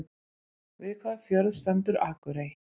Við hvaða fjörð stendur Akurey?